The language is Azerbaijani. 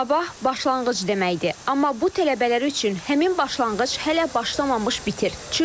Sabah başlanğıc deməkdir, amma bu tələbələr üçün həmin başlanğıc hələ başlamamış bitir.